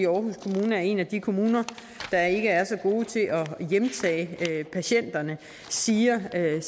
aarhus kommune er en af de kommuner der ikke er så gode til at hjemtage patienterne siger at